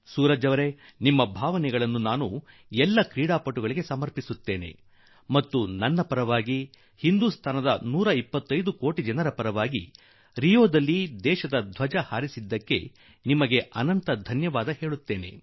ಸೂರಜ್ ಜೀ ನಿಮ್ಮ ಭಾವನೆಗಳನ್ನು ಎಲ್ಲಾ ಕ್ರೀಡಾಪಟುಗಳಿಗೆ ಅರ್ಪಿಸುವೆ ಮತ್ತು ನನ್ನ ಪರವಾಗಿ 125 ಕೋಟಿ ದೇಶವಾಸಿಗಳ ಪರವಾಗಿ ರಿಯೋದಲ್ಲಿ ಭಾರತದ ಧ್ವಜ ಹಾರಿಸುವುದಕ್ಕಾಗಿ ಅನಂತ ಶುಭಾಶಯ ಕೋರುವೆ